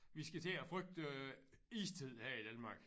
Vi skal til at frygte istiden her i Danmark